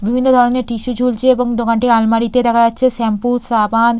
বিভিন্ন ধরনের টিস্যু ঝুলছে এবং দোকানটি আলমারিতে দেখা যাচ্ছে শ্যাম্পু সাবান--